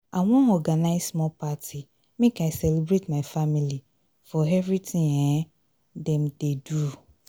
i wan organize small party make i celebrate my family for everytin um dem dey do.